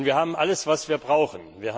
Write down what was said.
Und wir haben alles, was wir brauchen.